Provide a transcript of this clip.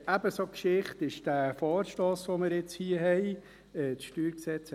Ebenso Geschichte ist der Vorstoss, den wir jetzt hier haben.